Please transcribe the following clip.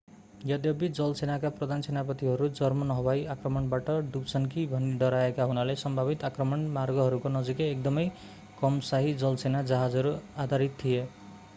यद्यपि जलसेनाका प्रधान सेनापतिहरू जर्मन हवाई आक्रमणबाट डुब्छन् कि भनी डराएका हुनाले सम्भावित आक्रमण मार्गहरूको नजिकै एकदमै कम शाही जलसेना जहाजहरू आधारित थिए